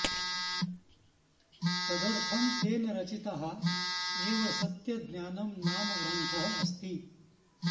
तदर्थं तेन रचिताः एव सत्य ज्ञानम् नाम ग्रन्थः अस्ति